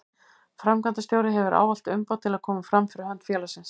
Framkvæmdastjóri hefur ávallt umboð til að koma fram fyrir hönd félagsins.